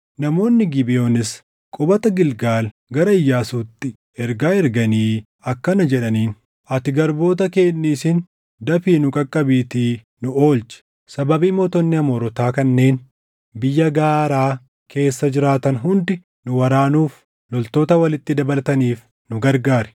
Namoonni Gibeʼoonis qubata Gilgaal gara Iyyaasuutti ergaa erganii akkana jedhaniin; “Ati garboota kee hin dhiisin. Dafii nu qaqqabiitii nu oolchi; sababii mootonni Amoorotaa kanneen biyya gaaraa keessa jiraatan hundi nu waraanuuf loltoota walitti dabalataniif nu gargaari.”